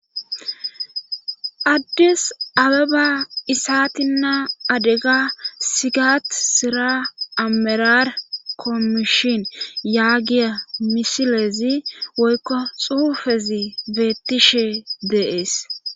addis abeba isatinnaa adega sigat sira amerar kommishin yaagiya misilezi woykko xuufezi beettishe deees